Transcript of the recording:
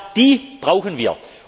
Genau die brauchen wir!